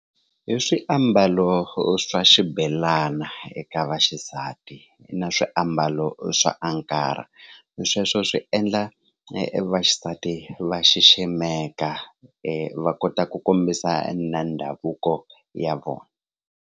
I swiambalo swa xibelana eka vaxisati na swiambalo swa sweswo swi endla vaxisati va xiximeka va kota ku kombisa na ndhavuko ya vona.